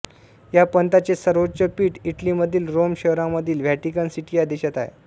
या पंथाचे सर्वोच्च पीठ इटलीमधील रोम शहरामधील व्हॅटिकन सिटी या देशात आहे